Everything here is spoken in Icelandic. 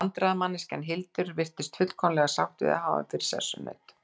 Vandræðamanneskjan Hildur virðist fullkomlega sátt við að hafa hann fyrir sessunaut.